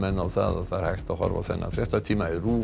á að það er hægt að horfa á þennan fréttatíma í RÚV